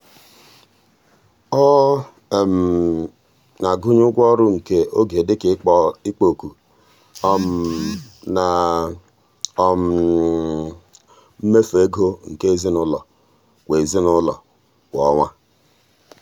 ọ um na-agụnye ụgwọ ọrụ nke oge dị ka ikpo ọkụ um na um mmefu ego nke ezinụụlọ kwa ezinụụlọ kwa ọnwa.